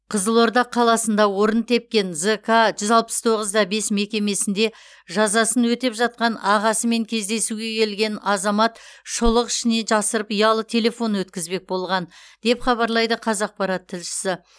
қызылорда қаласында орын тепкен зк жүз алпыс тоғыз да бес мекемесінде жазасын өтеп жатқан ағасымен кездесуге келген азамат шұлық ішіне жасырып ұялы телефон өткізбек болған деп хабарлайды қазақпарат тілшісі